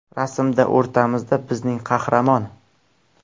Rasmda o‘rtamizda bizning qahramon.